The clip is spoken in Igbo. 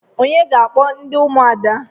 Onye ga-akpọ ndị ụmụada?